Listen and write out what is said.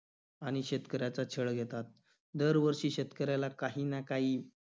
आणि शेतकऱ्याचा छळ घेतात. दरवर्षी शेतकऱ्याला काही ना काही